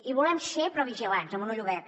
hi volem ser però vigilants amb un ull obert